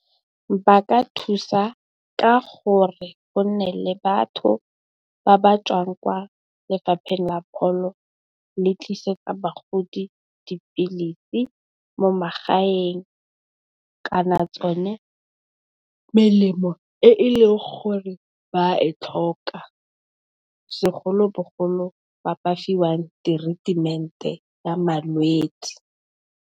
Ba ka thusa ka gore go nne le batho ba ba tswang kwa lefapheng la pholo le tlisetsa bagodi dipilisi mo magaeng. Kana yone melemo e e leng gore ba e tlhoka segolobogolo, ba ba fiwang teretemente ya malwetse.